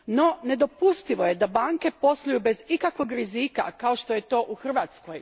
No, nedopustivo je da banke posluju bez ikakvog rizika kao što je to u Hrvatskoj.